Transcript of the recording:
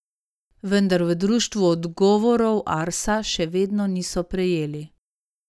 Vendar v društvu odgovorov Arsa še vedno niso prejeli.